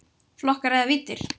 Flokkar eða víddir